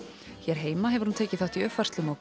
hér heima hefur hún tekið þátt í uppfærslum á